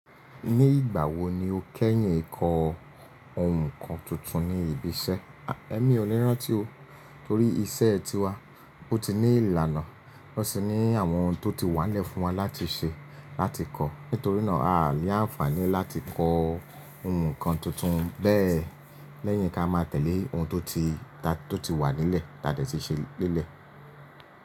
Ní ìgbà wo ni o kẹ́yìn ẹ̀kọ́ ohun kan tuntun ní ibi iṣẹ́? Ẹ̀ mi ò le rántí o, torí iṣẹ́ ti wá, ó ti ní ìlànà, ó sì ní àwọn ohun tó ti wà n lẹ́ fún wa láti ṣe, láti kọ́. Nítorí náà, à á ní àǹfààní láti kọ́ ohun kan tuntun bẹ́ẹ̀ lẹ́yìn kí a máa tẹ̀lé ohun tó ti wà nílẹ̀, ta de ti ṣe nílẹ̀.